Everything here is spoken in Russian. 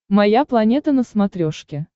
моя планета на смотрешке